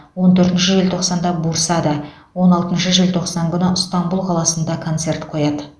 он төртінші желтоқсанда бурсада он алтыншы желтоқсан күні ыстанбұл қаласында концерт қояды